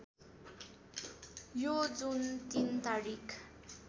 यो जुन ३ तारिक